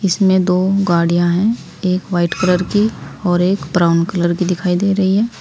इसमें दो गाड़ियां हैं। एक व्हाइट कलर की और एक ब्राउन कलर की दिखाई दे रही है।